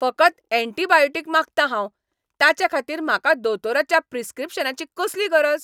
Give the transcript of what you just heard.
फकत एण्टिबायोटीक मागतां हांव! ताचेखातीर म्हाका दोतोराच्या प्रिस्क्रिप्शनाची कसली गरज?